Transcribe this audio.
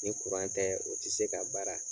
Ni kuran tɛ o tɛ se ka baara